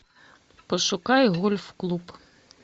пошукай гольф клуб